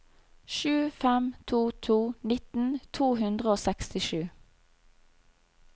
sju fem to to nitten to hundre og sekstisju